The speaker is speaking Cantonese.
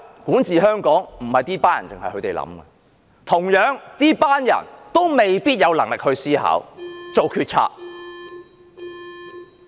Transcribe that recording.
管治香港不僅是這些人的事，這些人也未必有能力思考、做決策。